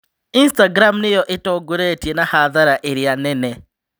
Istagram nĩyo itongoretie na hathara ĩrĩa nene